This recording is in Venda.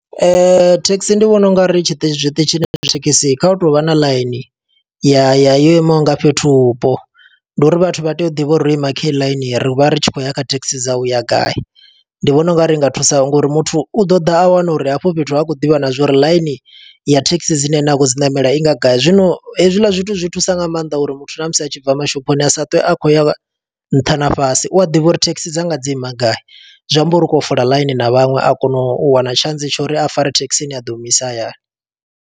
Thekhisi ndi vhona ungari tshiṱitshi, zwiṱitshini zwa thekhisi kha hu tovha na ḽaini. Ya yo imaho nga fhethu vhupo. Ndi uri vhathu vha tea u ḓivha uri ro ima khe heti ḽaini, ri vha ri tshi khou ya kha thekhisi dza uya gai. Ndi vhona ungari i nga thusa ngo uri muthu u ḓo ḓa a wana uri hafho fhethu ha khou ḓivha na zwo uri ḽaini ya thekhisi dzine ene a khou dzi ṋamela i nga gai. Zwino hezwiḽa zwithu zwi thusa nga maanḓa uri muthu ṋamusi a tshi bva mashophoni, asa twe a khou ya nṱha na fhasi. U a ḓivha uri thekhisi dzanga dzi ima gai, zwi amba uri u khou ya u fola ḽaini na vhaṅwe. A kono u wana tshantsi tsha uri a fare thekhisi ine ya ḓo muisa hayani.